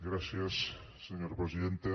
gràcies senyora presidenta